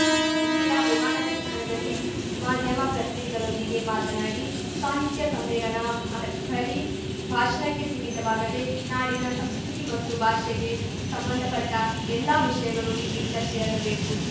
ಇಲ್ಲಿನ ವಿಮಾನ ನಿಲ್ದಾಣದಲ್ಲಿ ಮಾಧ್ಯಮ ಪ್ರತಿನಿಧಿಗಳೊಂದಿಗೆ ಮಾತನಾಡಿ ಸಾಹಿತ್ಯ ಸಮ್ಮೇಳನ ಬರೀ ಭಾಷಣಕ್ಕೆ ಸೀಮಿತವಾಗದೆ ನಾಡಿನ ಸಂಸ್ಕೃತಿ ಮತ್ತು ಭಾಷೆಗೆ ಸಂಬಂಧಪಟ್ಟಎಲ್ಲಾ ವಿಷಯಗಳು ಇಲ್ಲಿ ಚರ್ಚೆಯಾಗಬೇಕು